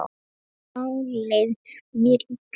Þá leið mér illa.